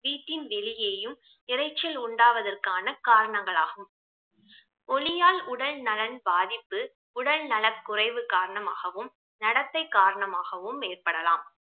வீட்டில் வெளியேயும் இரைச்சல் உண்டாவதற்கான காரணங்களாகும் ஒலியால் உடல் நலன் பாதிப்பு உடல் நலக்குறைவு காரணமாகவும் நடத்தை காரணமாகவும் ஏற்படலாம்